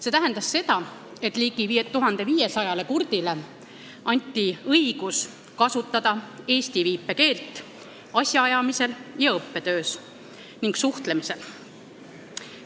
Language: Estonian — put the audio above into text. See tähendas seda, et ligi 1500 kurdile inimesele anti õigus kasutada eesti viipekeelt asjaajamisel ja õppetöös ning suhtlemisel.